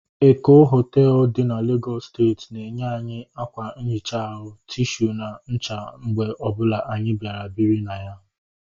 Eko hoteelu dị n'Legọsụ steeti na enye anyị akwa nhicha ahu, tishu na ncha mgbe ọbụla anyị bịara biri na ya